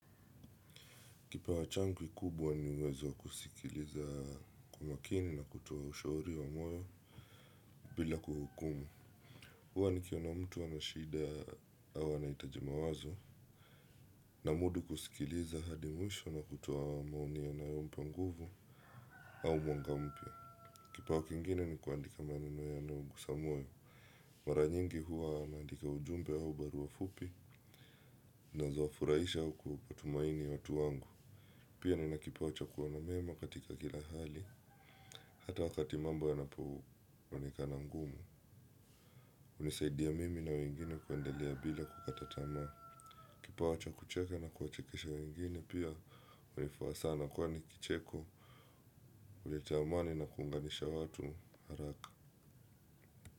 Kipawa changu kikubwa ni uwezo kusikiliza kwa makini na kutoa ushauri wa moyo bila kuhukumu. Huwa nikiona na mtu ana shida au anaitaji mawazo namudu kusikiliza hadi mwisho na kutoa maoni yanayompa nguvu au mwanga mpya. Kipawa kingine ni kuandika maneno yanayogusa moyo. Mara nyingi huwa naandika ujumbe au barua fupi zinazowafuraisha au kutumaini ya utu wangu. Pia nina kipawa cha kuona mema katika kila hali, hata wakati mambo yanapoenekana ngumu. Hunisaidia mimi na wengine kuendelea bila kukata tamaa. Kipawa cha kucheke na kuwachekesha wengine pia hunifaa sana kwani kicheko, huleta amani na kuunganisha watu haraka.